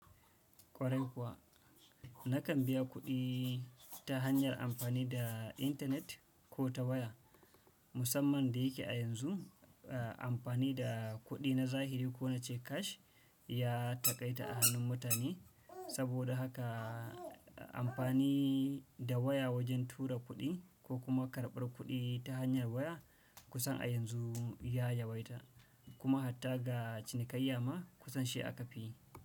Kwarai kuwa nakan biya kudi ta hanyar anfanida internet kota waya. Musamman da yake a yanzu, a-amfani da kuɗi na zahiri ko na ce cash ya taƙaita a hannun mutane. Saboda haka a-amfani da waya wajen tura kuɗi ko kuma karɓar kuɗi ta hanyar waya kusan a yanzu ya yawaita, kuma hatta ga cinikayya ma kusan shi aka fi yi.